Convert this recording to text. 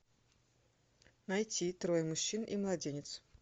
найти трое мужчин и младенец